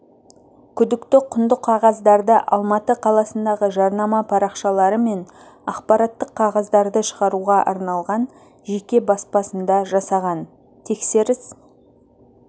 күдікті құнды қағаздарды алматы қаласындағы жарнама парақшалары мен ақпараттық қағаздарды шығаруға арналған жеке баспасында жасаған тексеріс